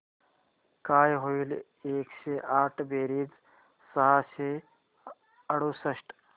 काय होईल एकशे आठ बेरीज सहाशे अडुसष्ट